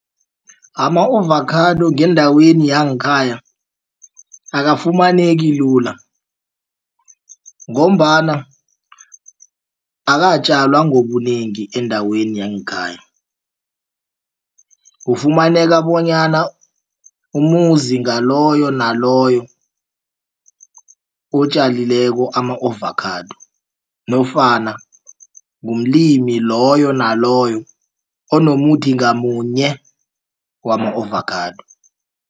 Ama-ovakhado ngendaweni yangekhaya akafumaneki lula ngombana akatjalwa ngobunengi endaweni yangekhaya kufumaneka bonyana umuzi ngaloyo naloyo otjalileko ama-ovakhado nofana umlimi loyo naloyo onomuthi ngamunye wama-ovakhado.